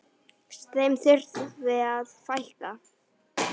Þeim þurfi að fækka.